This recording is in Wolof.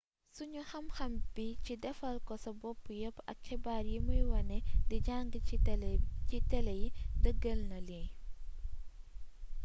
sunu xamxam bi ci défalko-sa-bopp yeepp ak xibaar yi muy wane di jang ci télé yi deeggeel na lii